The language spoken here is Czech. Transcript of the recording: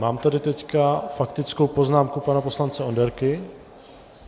Mám tady teď faktickou poznámku pana poslance Onderky...